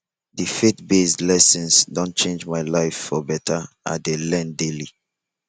the faithbased lessons don change my life for better i dey learn daily